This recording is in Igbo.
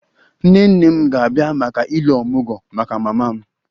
Nne nne m ga-abịa maka 'Ile omugwo' maka mama m